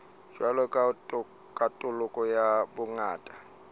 jwalo ka katoloso ya bongata